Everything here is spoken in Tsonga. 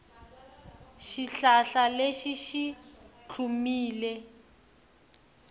xihlahla lexi xi tlhumile